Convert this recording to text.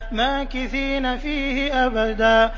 مَّاكِثِينَ فِيهِ أَبَدًا